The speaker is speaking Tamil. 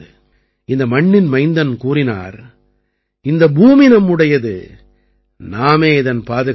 இந்த மண்ணின் மைந்தன் கூறினார் இந்த பூமி நம்முடையது நாமே இதன் பாதுகாவலர்கள்